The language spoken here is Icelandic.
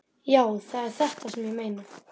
Já, það er þetta sem ég meina!